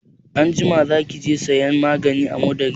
Anjima za ki je sayan maganin amodari?